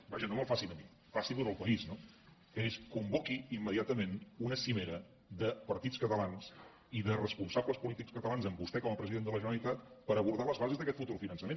vaja no me’l faci a mi faci’l al país no que és convoqui immediatament una cimera de partits catalans i de responsables polítics catalans amb vostè com a president de la generalitat per abordar les bases d’aquest futur finançament